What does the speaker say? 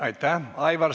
Aitäh!